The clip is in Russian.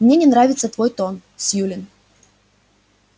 мне не нравится твой тон сьюлин